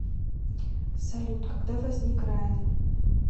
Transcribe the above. салют когда возник раен